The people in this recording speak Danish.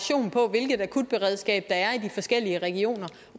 hvilket akutberedskab der er i de forskellige regioner